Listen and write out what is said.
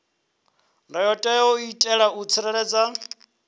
ndayotewa u itela u tsireledza